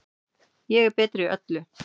Ég er betri í öllu.